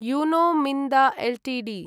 Uno Minda Ltd